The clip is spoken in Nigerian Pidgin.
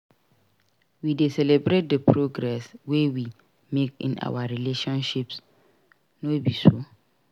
We dey celebrate the progress wey we make in our relationships no be so?